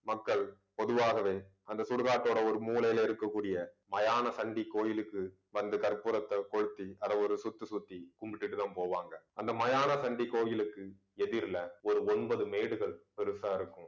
மக்கள் பொதுவாகவே அந்த சுடுகாட்டோட ஒரு மூலையில இருக்கக்கூடிய மயான கோயிலுக்கு வந்து கற்பூரத்தை கொளுத்தி அதை ஒரு சுத்து சுத்தி கும்பிட்டுட்டுதான் போவாங்க அந்த மயான கோயிலுக்கு எதிர்ல ஒரு ஒன்பது மேடுகள் பெருசா இருக்கும்